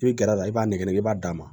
I bɛ gɛrɛ a la i b'a nɛgɛnɛgɛ i b'a d'a ma